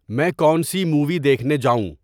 میں کون سی مووی دیکھنے جاؤں